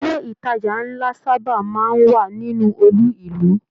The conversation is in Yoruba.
Ilé ìtàjà nlá saba máa n wà nínú olú ìlú.